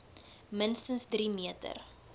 minste drie meter